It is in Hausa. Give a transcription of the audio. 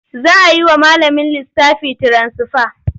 Za a yi wa malamin lissafi tiransifa.